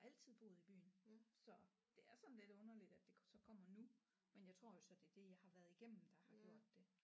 Altid boet i byen så det er sådan lidt underligt at det så kommer nu men jeg tror jo så det er det jeg har været igennem der har gjort det